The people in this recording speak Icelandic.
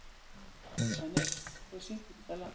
Dennis, hver syngur þetta lag?